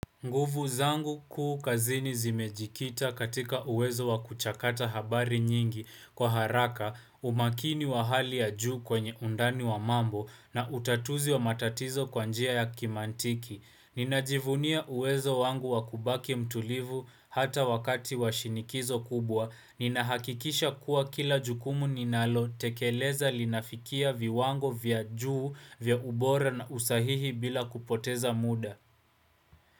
Nguvu zangu kuu kazini zimejikita katika uwezo wa kuchakata habari nyingi kwa haraka umakini wa hali ya juu kwenye undani wa mambo na utatuzi wa matatizo kwa njia ya kimantiki. Ninajivunia uwezo wangu wa kubaki mtulivu hata wakati wa shinikizo kubwa. Ninahakikisha kuwa kila jukumu ninalo tekeleza linafikia viwango vya juu vya ubora na usahihi bila kupoteza muda.